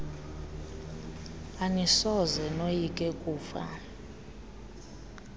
anisoze noyike kufa